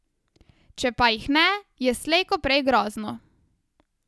Če pa jih ne, je slej ko prej grozno.